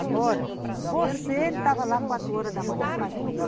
Agora, você estava lá quatro horas da manhã fazendo o quê?